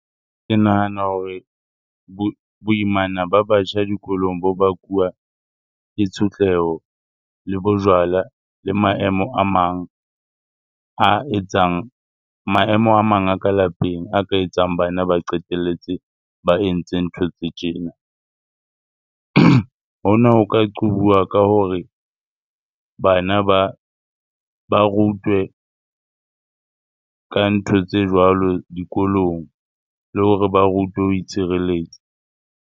Ke nahana hore boimana ba batjha dikolong bo bakuwa ke tshotleho, le bojwala le maemo a mang a etsang, maemo a mang a ka lapeng a ka etsang bana ba qetelletse ba entse ntho tse tjena. Hona ho ka qobuwa ka hore bana ba rutwe ka ntho tse jwalo dikolong le hore ba rutwe ho itshireletsa.